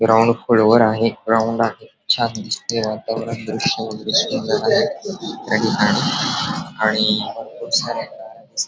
ground खोलवर आहे ground आहे छान दिसतय वातावरण दृश वेगैरे सुंदर आहे खूप साऱ्या गाड्या दिस --